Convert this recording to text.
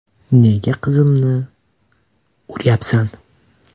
– Nega qizimni urayapsan?